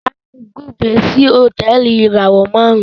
Tayo bùgbé sí Hotẹẹli ìràwọ márùn